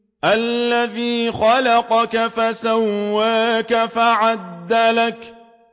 الَّذِي خَلَقَكَ فَسَوَّاكَ فَعَدَلَكَ